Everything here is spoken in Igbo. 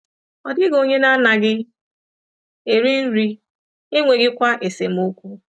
Ọ dịghị onye na-anaghị eri nri, e e nweghịkwa esemokwu.